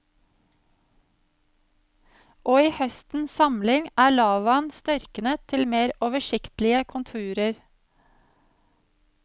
Og i høstens samling er lavaen størknet til mer oversiktlige konturer.